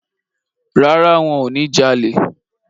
Rárá, wọ́n ò ní jalè.